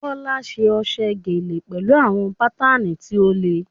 Bola ṣe ọ̀ṣọ́ gele pẹ̀lú àwọn bátánì tí ó le.